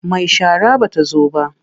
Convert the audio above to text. Mai shara ba ta zo ba.